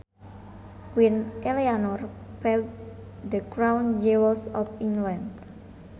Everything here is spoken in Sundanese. Queen Eleanor pawned the crown jewels of England